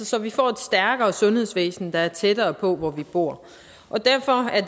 så vi får et stærkere sundhedsvæsen der er tættere på hvor vi bor derfor er